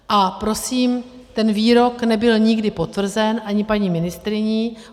A prosím, ten výrok nebyl nikdy potvrzen ani paní ministryní.